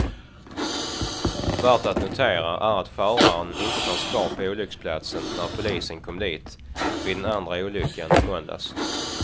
Värt att notera är att föraren inte fanns kvar på olycksplatsen när polisen kom dit vid den andra olyckan i måndags.